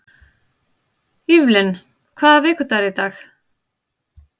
Evelyn, hvaða vikudagur er í dag?